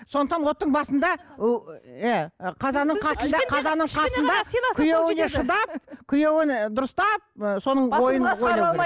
сондықтан оттың басында ы қазанның қасында қазанның қасында күйеуіне шыдап күйеуіне дұрыстап соның ойын ойлауы керек